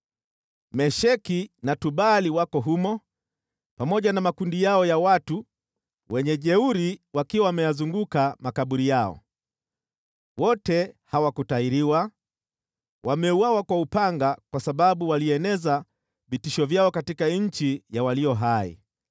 “Mesheki na Tubali wako humo, pamoja na makundi yao ya wajeuri wakiwa wameyazunguka makaburi yao. Wote hawakutahiriwa, wameuawa kwa upanga kwa sababu walieneza vitisho vyao katika nchi ya walio hai.